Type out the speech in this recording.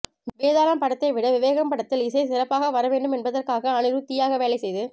வேதாளம் படத்தை விட விவேகம் படத்தில் இசை சிறப்பாக வர வேண்டும் என்பதற்காக அனிருத் தீயாக வேலை செய்து